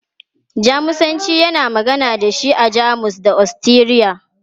Jamusanci, ana magana da shi a Jamus da Ostiriya.